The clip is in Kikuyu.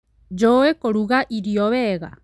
Njũĩ kũruga irio wega